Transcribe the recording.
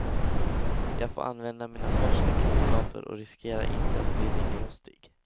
Jag får använda mina färska kunskaper och riskerar inte att bli ringrostig.